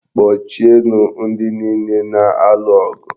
Kpọchie nụ ndị niile na-alụ ọgụ!